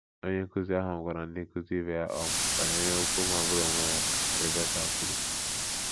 Onye nkụzi ahụ gwara ndị nkụzi ibe ya um banyere okwu magburu onwe ya Rebekka kwuru.